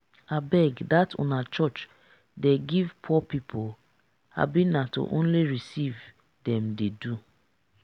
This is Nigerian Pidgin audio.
abeg dat una church dey give poor people? abi na to only receive dem dey do